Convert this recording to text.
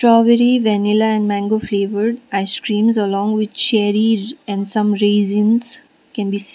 strawberry vanilla and mango flavoured icecreams along with cherries and raisins can be se --